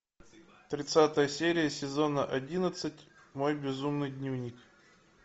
тридцатая серия сезона одиннадцать мой безумный дневник